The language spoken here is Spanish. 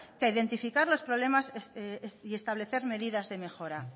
que identificar los problemas y establecer medidas de mejora